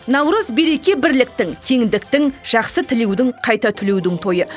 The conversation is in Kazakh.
наурыз береке бірліктің теңдіктің жақсы тілеудің қайта түлеудің тойы